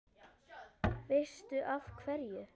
Veistu af hverju?